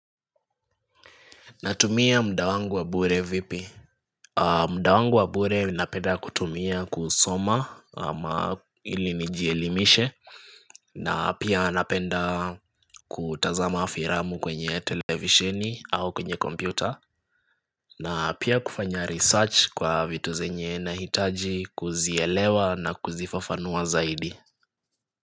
Natumia muda wangu wa bure vipi? Muda wangu wa bure napenda kutumia kusoma ama ili nijielimishe na pia napenda kutazama filamu kwenye televishini au kwenye kompyuta na pia kufanya research kwa vitu zenye nahitaji kuzielewa na kuzifafanua zaidi.